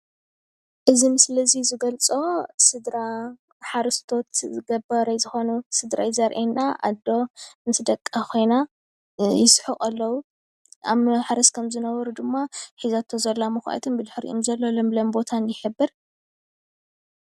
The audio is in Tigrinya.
እዚ ምስሊ እዚ ዝገልፆ ስድራ ሓረስቶስ ገባራይ ዝኮኑ ስድራ እዩ ዘርእየና። ኣዶ ምስ ደቃ ኮይና ይስሕቁ ኣለው ኣብ ማሕረስ ከም ዝነበሩ ድማ ሒዛቶ ዘላ መኩዓቲ ብድሕሪኡ ዘሎ ለምለም ቦታን ይሕብር፡፡